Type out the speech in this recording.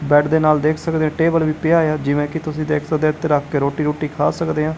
Bed ਦੇ ਨਾਲ ਦੇਖ ਸਕਦੇ ਆਂ ਟੇਬਲ ਵੀ ਪਿਆ ਹੋਇਆ ਜਿਵੇਂ ਕਿ ਤੁਸੀਂ ਦੇਖ ਸਕਦੇ ਔ ਇੱਥੇ ਰੱਖ ਕੇ ਰੋਟੀ ਰੁਟੀ ਖਾ ਸਕਦੇ ਆ।